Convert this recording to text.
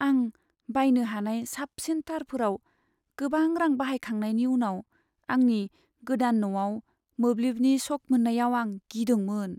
आं बायनो हानाय साबसिन तारफोराव गोबां रां बाहायखांनायनि उनाव आंनि गोदान न'आव मोब्लिबनि शक मोननायाव आं गिदोंमोन।